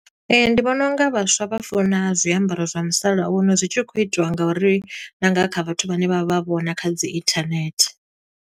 Ndi vhona unga vhaswa vha funa zwiambaro zwa musalauno, zwi tshi khou itiwa nga uri na nga kha vhathu vhane vha vha vhona, kha dzi internet.